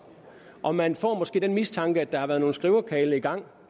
og man får måske den mistanke at der har været nogle skriverkarle i gang